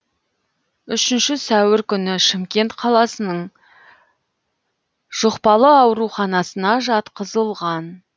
үшінші сәуір күні шымкент қаласының жұқпалы ауруханасына жатқызылған